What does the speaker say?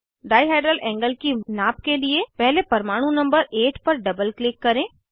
dihedral angle की नाप के लिए पहले परमाणु नंबर 8 पर डबल क्लिक करें